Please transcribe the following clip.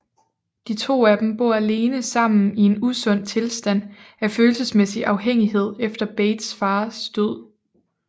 De to af dem bor alene sammen i en usund tilstand af følelsesmæssig afhængighed efter Bates fars død